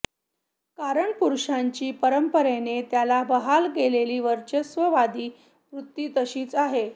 कारण पुरुषाची परंपरेने त्याला बहाल केलेली वर्चस्ववादी वृत्ती तशीच आहे